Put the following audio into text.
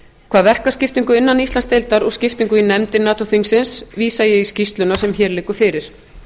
hvað verkaskiptingu innan íslandsdeildar og skiptingu í nefndir nato þingsins vísa ég í skýrsluna sem hér liggur fyrir